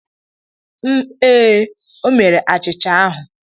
Ee e, o mere achịcha ahụ.